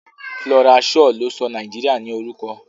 Flora Shaw ló sọ Nàìjíríà ní orúkọ.